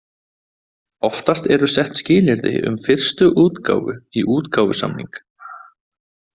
Oftast eru sett skilyrði um fyrstu útgáfu í útgáfusamning.